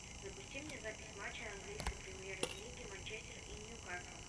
запусти мне запись матча английской премьер лиги манчестер и ньюкасл